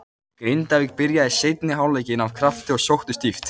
Grindavík byrjaði seinni hálfleikinn af krafti og sóttu stíft.